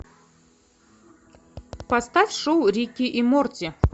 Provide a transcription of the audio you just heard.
поставь шоу рик и морти